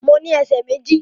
Mo ní ẹsẹ̀ méjì